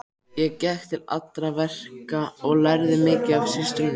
Ég gekk til allra verka og lærði mikið af systrunum.